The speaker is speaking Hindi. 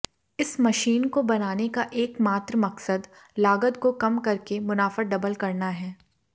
इस मशीन को बनाने का एकमात्र मकसद लागत को कम करके मुनाफा डबल करना है